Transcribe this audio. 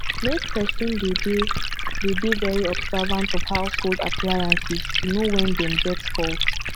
make person dey de dey de very observant of household appliances to know when dem get fault